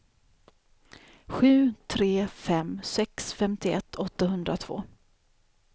sju tre fem sex femtioett åttahundratvå